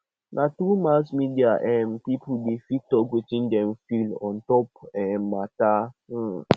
na through mass media um pipo dey fit talk wetin dem feel ontop um mata um